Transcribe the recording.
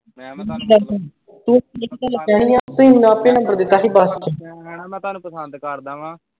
ਮੈਂ ਮੇਰੀ ਗੱਲ ਸੁਣ ਤੂੰ ਕਹਿਣਾ ਮੈਂ ਤੁਹਾਨੂੰ ਪਸੰਦ ਕਰਦਾ ਆਂ